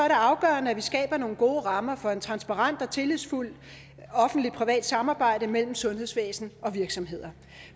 afgørende at vi skaber nogle gode rammer for et transparent og tillidsfuldt offentligt privat samarbejde mellem sundhedsvæsen og virksomheder